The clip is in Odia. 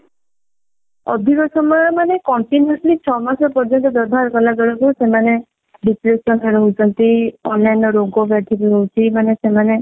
ଅଧିକ ସମୟ ମାନେ continuously ଛଅ ମାସ ପର୍ଯ୍ୟନ୍ତ ବ୍ୟବହାର କଲା ବେଳକୁ ସେମାନେ depression ରେ ରହୁଛନ୍ତି ଅନ୍ୟାନ୍ୟ ରୋଗ ବ୍ୟାଧି ବି ହଉଛି ମାନେ ସେମାନେ